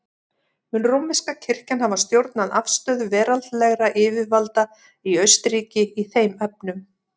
Mun rómverska kirkjan hafa stjórnað afstöðu veraldlegra yfirvalda í Austurríki í þeim efnum.